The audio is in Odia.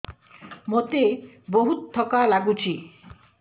ମୋତେ ବହୁତ୍ ଥକା ଲାଗୁଛି